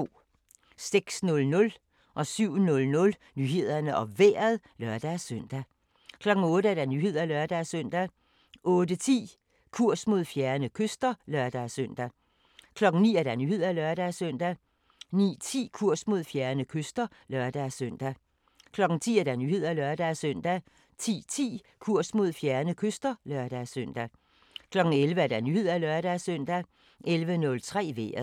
06:00: Nyhederne og Vejret (lør-søn) 07:00: Nyhederne og Vejret (lør-søn) 08:00: Nyhederne (lør-søn) 08:10: Kurs mod fjerne kyster (lør-søn) 09:00: Nyhederne (lør-søn) 09:10: Kurs mod fjerne kyster (lør-søn) 10:00: Nyhederne (lør-søn) 10:10: Kurs mod fjerne kyster (lør-søn) 11:00: Nyhederne (lør-søn) 11:03: Vejret